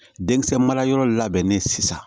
Denkisɛ marayɔrɔ labɛnnen sisan